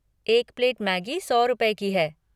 एक plate Maggi सौ रुपए की है।